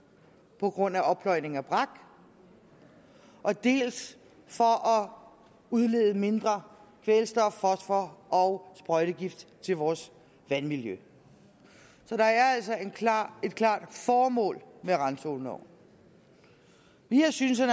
på grund af oppløjning af brak dels for at udlede mindre kvælstof fosfor og sprøjtegift til vores vandmiljø så der er altså et klart et klart formål med randzoneloven vi har syntes at